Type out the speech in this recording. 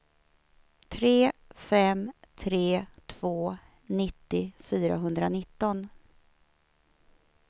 tre fem tre två nittio fyrahundranitton